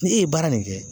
Ni e ye baara nin kɛ